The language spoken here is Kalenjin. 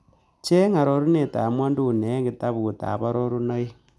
Cheng arorunetap ng'wonyduni eng' kitabutap arorunoik